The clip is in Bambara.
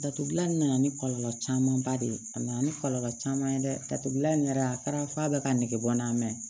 Datugulan in nana ni kɔlɔlɔ camanba de ye a nana ni kɔlɔlɔ caman ye dɛ datugulan in yɛrɛ a kɛra f'a bɛ ka nege bɔ n na mɛ